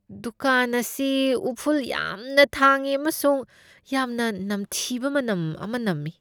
ꯗꯨꯀꯥꯟ ꯑꯁꯤ ꯎꯐꯨꯜ ꯌꯥꯝꯅ ꯊꯥꯡꯏ ꯑꯃꯁꯨꯡ ꯌꯥꯝꯅ ꯅꯝꯊꯤꯕ ꯃꯅꯝ ꯑꯃ ꯅꯝꯃꯤ꯫